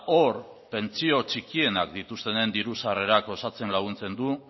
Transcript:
hor pentsio txikienak dituztenen diru sarrerak osatzen laguntzen du